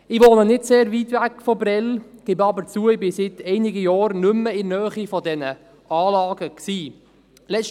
Ich wohne nicht sehr weit entfernt von Prêles, gebe aber zu, dass ich seit einigen Jahren nicht mehr in der Nähe dieser Anlagen war.